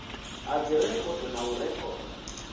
ha dzirekhodo na u rekhoda